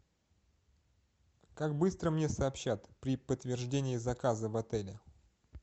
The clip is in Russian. как быстро мне сообщат при подтверждении заказа в отеле